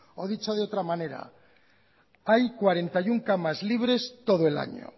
o dicho de otra manera hay cuarenta y uno camas libres todo el año